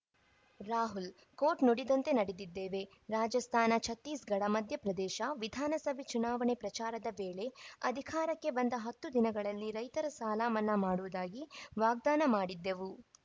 Rahul quote ನುಡಿದಂತೆ ನಡೆದಿದ್ದೇವೆ ರಾಜಸ್ಥಾನ ಛತ್ತೀಸ್‌ಗಢ ಮಧ್ಯಪ್ರದೇಶ ವಿಧಾನಸಭೆ ಚುನಾವಣೆ ಪ್ರಚಾರದ ವೇಳೆ ಅಧಿಕಾರಕ್ಕೆ ಬಂದ ಹತ್ತು ದಿನಗಳಲ್ಲಿ ರೈತರ ಸಾಲಮನ್ನಾ ಮಾಡುವುದಾಗಿ ವಾಗ್ದಾನ ಮಾಡಿದ್ದೆವು